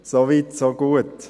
So weit, so gut.